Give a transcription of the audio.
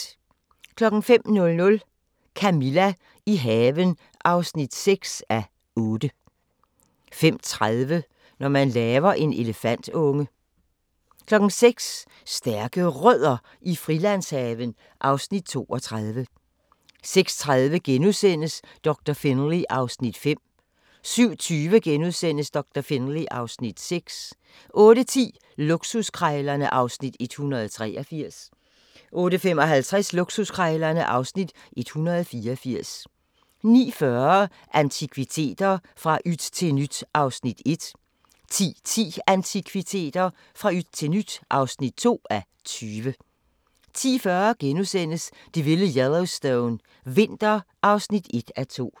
05:00: Camilla – i haven (6:8) 05:30: Når man laver en elefantunge 06:00: Stærke Rødder i Frilandshaven (Afs. 32) 06:30: Doktor Finlay (Afs. 5)* 07:20: Doktor Finlay (Afs. 6)* 08:10: Luksuskrejlerne (Afs. 183) 08:55: Luksuskrejlerne (Afs. 184) 09:40: Antikviteter - fra yt til nyt (1:20) 10:10: Antikviteter - fra yt til nyt (2:20) 10:40: Det vilde Yellowstone – vinter (1:2)*